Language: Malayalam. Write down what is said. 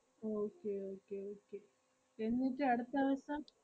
okay okay okay എന്നിട്ട് അടുത്ത ദെവസം.